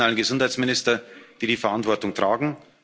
ist. Es sind die nationalen Gesundheitsminister, die die Verantwortung